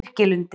Birkilundi